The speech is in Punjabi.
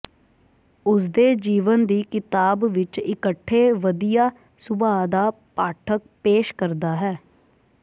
ਉਸ ਦੇ ਜੀਵਨ ਦੀ ਕਿਤਾਬ ਵਿਚ ਇਕੱਠੇ ਵਧੀਆ ਸੁਭਾਅ ਦਾ ਪਾਠਕ ਪੇਸ਼ ਕਰਦਾ ਹੈ